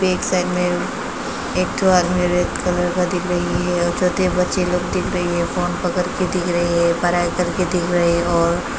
एक साइड में एक ठो आदमी रेड कलर का दिख रही है और छोटे बच्चे लोग दिख रही है। फोन पकड़ के दिख रही है। पढ़ाई कर के दिख रहे है और --